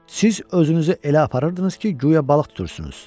Siz özünüzü elə aparırdınız ki, guya balıq tutursunuz.